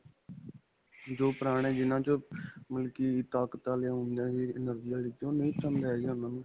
ਜੋ ਪੁਰਾਣੇ ਜਿਨ੍ਹਾਂ 'ਚ ਬਲਕਿ ਤਾਕਤ ਵਾਲਿਆਂ ਹੁੰਦਿਆ ਨੇ, energy ਤੋਂ ਨਹੀਂ ਪਸੰਦ ਹੈ ਗਈ ਉਨ੍ਹਾਂ ਨੂੰ.